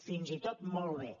fins i tot molt bé